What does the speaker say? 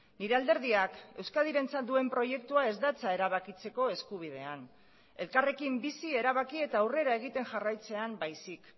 nire alderdiak euskadirentzat duen proiektua ez datza erabakitzeko eskubidean elkarrekin bizi erabaki eta aurrera egiten jarraitzean baizik